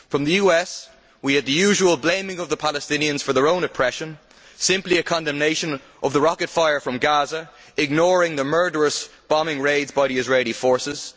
From the US we had the usual blaming of the Palestinians for their own oppression, and simply a condemnation of the rocket fire from Gaza, ignoring the murderous bombing raids by the Israeli forces.